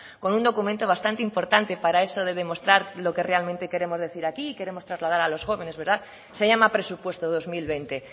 con un documento bastante importante para eso de demostrar lo que realmente queremos decir aquí y queremos trasladar a los jóvenes se llama presupuesto dos mil veinte